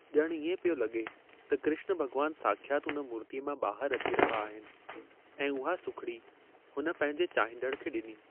ॼणु इएं पियो लॻे त कृष्ण भॻवानु साख्यात उन मूर्तीअ मां ॿाहरि अची रहा आहिनि ऐं उहा सुखड़ी उन पंहिंजे चाहींदड़ खे ॾिनी।